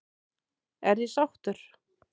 Er ég sáttur?